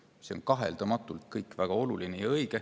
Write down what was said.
See kõik on kaheldamatult väga oluline ja õige.